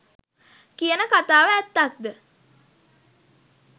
කියන කථාව ඇත්තක්ද?